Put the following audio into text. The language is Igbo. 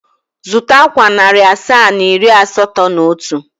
Zụta akwa narị asaa na iri asatọ na otu.